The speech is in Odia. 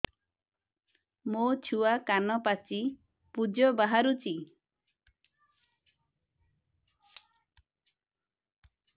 ମୋ ଛୁଆ କାନ ପାଚି ପୂଜ ବାହାରୁଚି